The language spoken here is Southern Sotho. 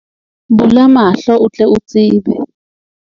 Bula mahlo o tle o tsebe.